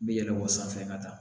Bɛ yɛlɛn o sanfɛ ka taa